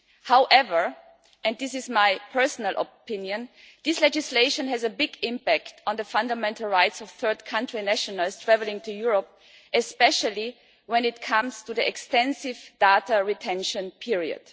However and this is my personal opinion this legislation has a big impact on the fundamental rights of third-country nationals travelling to Europe, especially when it comes to the extensive data retention period.